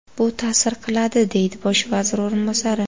Bu ta’sir qiladi”, deydi bosh vazir o‘rinbosari.